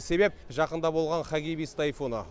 себеп жақында болған хагибис тайфуны